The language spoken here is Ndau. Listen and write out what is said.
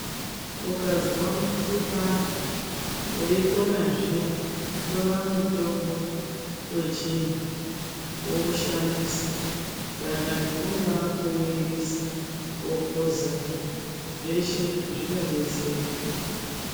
Ukazwa mukuhlani weikona zviya tora mutombo wechindu woushandisa dangani kungaa kuuirisa wokuza zveshe zvinodetsera.